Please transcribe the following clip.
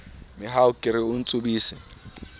mehau ke re o ntsubise